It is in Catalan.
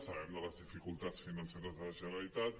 sabem de les dificultats financeres de la generalitat